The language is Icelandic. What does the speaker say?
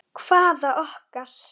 Hvaða okkar?